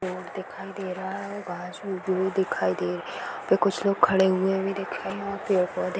road दिखाई दे रहा हैं और दिखाई दे रही हैं यहाँ पे कुछ लोग खड़े हुए भी